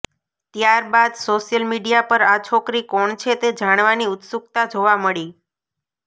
ત્યારબાદ social media પર આ છોકરી કોણ છે તે જાણવાની ઉત્સુક્તા જોવા મળી